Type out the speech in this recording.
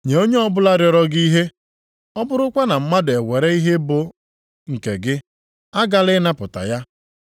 Nye onye ọbụla rịọrọ gị ihe. Ọ bụrụkwa na mmadụ ewere ihe bụ nke gị, agala ịnapụta ya.